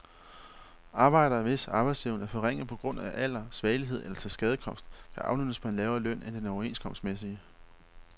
Arbejdere, hvis arbejdsevne er forringet på grund af alder, svagelighed eller tilskadekomst kan aflønnes på en lavere løn end den overenskomstmæssige.